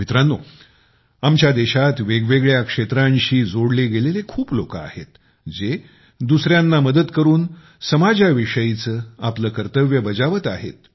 मित्रांनो आमच्या देशात वेगवेगळ्या क्षेत्रांशी जोडले गेलेले खूप लोक आहेत जे दुसऱ्यांना मदत करून समाजाच्या विषयीचे आपले कर्तव्य बजावत आहेत